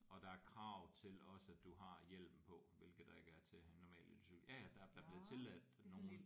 Og der er krav til også at du har hjelm på hvilket der ikke er til en normal elcykel ja ja der der bliver tilladt nogle